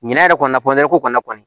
Ɲinan yɛrɛ kɔni ko kɔni